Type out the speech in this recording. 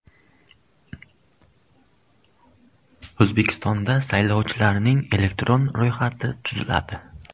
O‘zbekistonda saylovchilarning elektron ro‘yxati tuziladi.